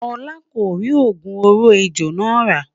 olá kò ri ogún òrò ẹjọ nà ra